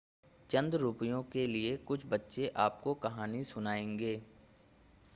चंद रुपयों के लिए कुछ बच्चे आपको कहानी सुनाएंगे